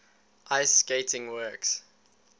ice skating works